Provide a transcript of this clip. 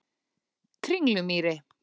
Kringlumýri